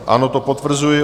Ano, to potvrzuji.